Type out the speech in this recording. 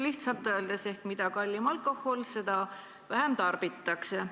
Lihtsalt öeldes: mida kallim alkohol, seda vähem tarbitakse.